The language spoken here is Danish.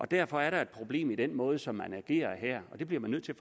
derfor er der et problem med den måde som man agerer på her og det bliver man nødt til